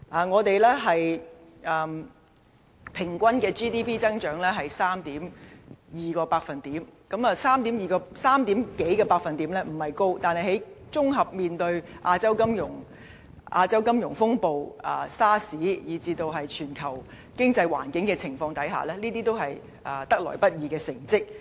我們平均的 GDP 增長是 3.2%， 這百分比不算高，但在綜合面對亞洲金融風暴、SARS， 以至全球經濟環境的情況下，這已是得來不易的成績。